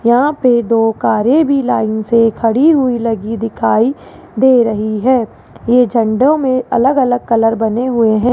यहां पे दो कारे भी लाइन से खड़ी हुई लगी दिखाई दे रही है ये झंडो में अलग अलग कलर बने हुए हैं।